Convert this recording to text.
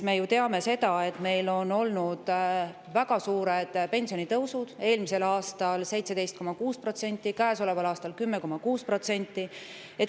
Me ju teame, et meil on olnud väga suured pensionitõusud: eelmisel aastal 17,6%, käesoleval aastal 10,6%.